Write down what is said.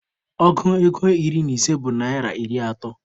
Ọgụ ego iri na ise bụ naịra iri atọ.